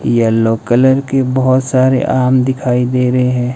Yellow colour के बहुत सारे आम दिखाई दे रहे हैं।